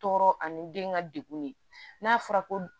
Tɔɔrɔ ani den ka degun ye n'a fɔra ko